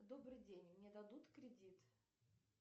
добрый день мне дадут кредит